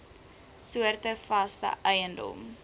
soorte vaste eiendom